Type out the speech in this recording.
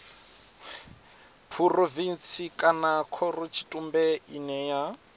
phurovintsi kana khorotshitumbe ine ya